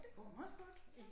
Det går meget godt